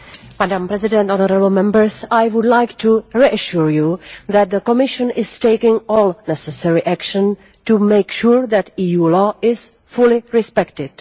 Madam President, I would like to reassure you that the Commission is taking all necessary action to make sure that EU law is fully respected.